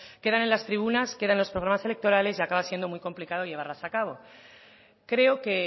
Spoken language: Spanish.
quedan en las tribunas quedan en los programas electorales y acaba siendo muy complicado llevarlas a cabo creo que